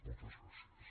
moltes gràcies